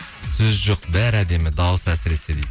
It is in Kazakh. сөз жоқ бәрі әдемі дауысы әсіресе дейді